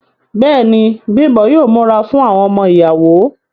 Bẹ́ẹ̀ni, Bimbo yóò múra fún àwọn ọmọ ìyàwó.